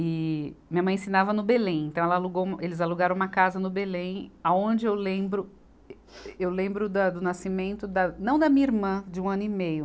E minha mãe ensinava no Belém, então ela alugou um, eles alugaram uma casa no Belém, aonde eu lembro, ê, eu lembro da do nascimento da, não da minha irmã, de um ano e meio,